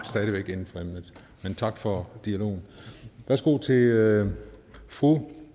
inden for emnet men tak for dialogen værsgo til fru